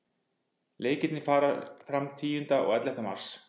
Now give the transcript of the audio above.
Leikirnir fara fram tíunda og ellefta mars.